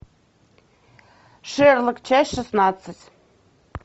шерлок часть шестнадцать